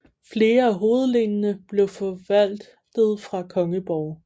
Flere af hovedlenene blev forvaltet fra kongeborge